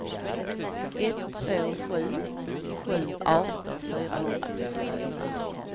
ett två sju sju arton fyrahundratrettiofyra